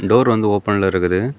Door வந்து ஓபன்ல இருக்குது.